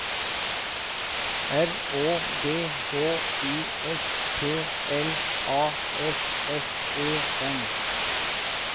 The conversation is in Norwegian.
R Å D H U S P L A S S E N